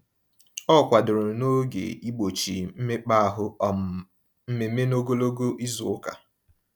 Ọ kwadoro n'oge igbochi mmekpaahụ um mmemme n'ogologo izuụka.